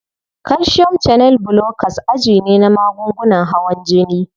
Calcium channel blockers aji ne na magungunan hawan jini.